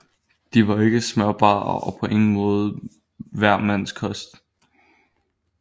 De var ikke smørbare og på ingen måde hver mands kost